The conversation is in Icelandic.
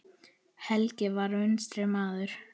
Helgi var vinstri maður.